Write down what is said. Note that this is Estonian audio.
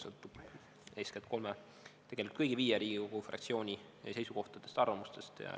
See sõltub eeskätt kolme või tegelikult kõigi viie Riigikogu fraktsiooni seisukohtadest ja arvamustest.